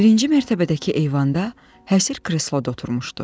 Birinci mərtəbədəki eyvanda həsir kresloda oturmuşdu.